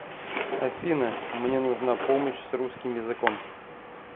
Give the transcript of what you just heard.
афина мне нужна помощь с русским языком